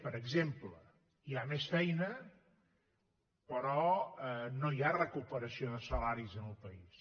per exemple hi ha més feina però no hi ha recuperació de salaris en el país